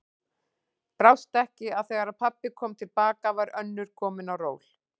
Brást ekki að þegar pabbi kom til baka var önnur komin á ról.